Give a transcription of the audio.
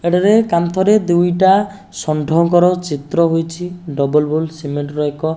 ଏଠାରେ କାନ୍ଥରେ ଦୁଇଟା ଷଣ୍ଢଙ୍କର ଚିତ୍ର ହୋଇଛି ଡବଲ୍ ବୁଲ୍ ସିମେଣ୍ଟ୍ ର ଏକ --